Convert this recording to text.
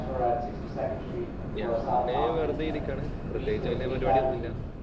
ഞാന് വെറുതെ ഇരിക്കുകയാണ്. പ്രത്യേകിച്ച് വല്യ പരിപാടിയൊന്നൂല്ല.